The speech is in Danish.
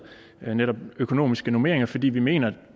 netop økonomiske normeringer fordi vi mener at